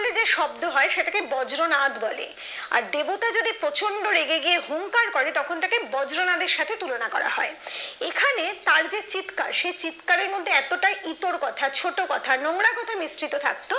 যে শব্দ হয় তাকে বজ্রনাথ বলে আর দেবতা যদি প্রচন্ড রেগে গিয়ে হুংকার করে তখন ওটাকে বজ্রনাথের সাথে তুলনা করা হয় এখানে তার যে চিৎকার সেই চিৎকার এর মধ্যে এতটাই ইতর কথা ছোট কথা নোংরা কথা মিশ্রিত থাকতো